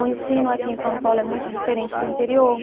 O ensino aqui em São Paulo é muito diferente do interior.